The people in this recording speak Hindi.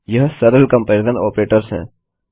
यह सरल कम्पेरिज़न आपरेटर्स हैं